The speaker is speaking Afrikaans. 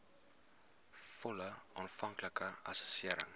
volle aanvanklike assessering